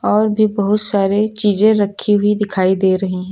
और भी बहुत सारे चीजे रखी हुई दिखाई दे रही हैं।